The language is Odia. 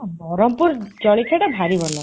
ବରହମପୁର ଜଳଖିଆଟା ଭାରି ଭଲ